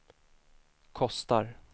kostar